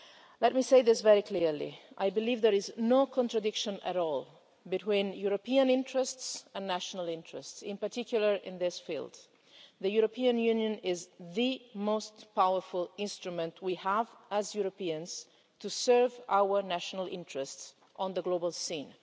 Let me say this very clearly I believe there is no contradiction at all between European interests and national interests, in particular in this field. The European Union is the most powerful instrument we have, as Europeans, to serve our national interests on the global scene.